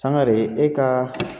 Sangare e ka